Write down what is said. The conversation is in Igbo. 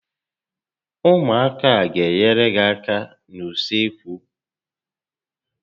Ụmụaka a gá enyere gị áká n'usekwu